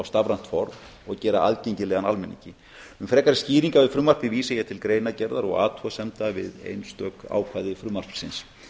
stafrænt form og gera aðgengilegan almenningi um frekari skýringar við frumvarpið vísa ég til greinargerðar og athugasemda við einstök ákvæði frumvarpsins